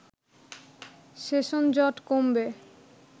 সেশনজট কমবে